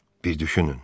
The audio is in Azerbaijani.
Bir düşünün.